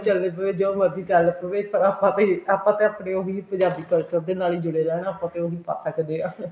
ਆਪਾਂ ਤਾਂ ਆਪਨੇ ਉਹੀ ਪੰਜਾਬੀ culture ਦੇ ਨਾਲ ਹੀ ਜੁੜੇ ਰਹਿਣਾ ਆਪਾਂ ਤਾਂ ਉਹੀ ਪਾ ਸਕਦੇ ਹਾਂ